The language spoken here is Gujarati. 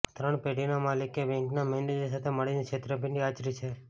ત્રણ પેઢીના માલિકે બેંકના મેનેજર સાથે મળીને છેતરપિંડી આચરી છે